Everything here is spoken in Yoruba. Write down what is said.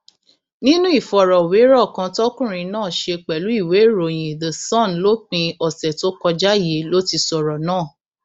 nínú ìfọrọwérọ kan tọkùnrin náà ṣe pẹlú ìwéèròyìn the sun lópin ọsẹ tó kọjá yìí ló ti sọrọ náà